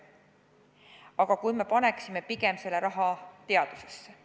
Aga kui me paneksime selle raha pigem teadusesse?